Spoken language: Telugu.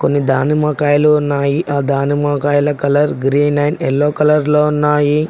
కొన్ని దానిమ్మకాయలు ఉన్నాయి ఆ దానిమ్మకాయల colour green and yellow colour లో ఉన్నాయి.